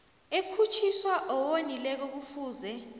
ekhutjhiswa owonileko kufuze